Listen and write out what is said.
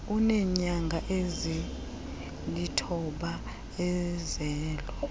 eneenyanga ezilithoba ezelwe